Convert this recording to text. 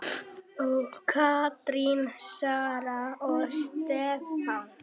Katrín, Sara og Stefán.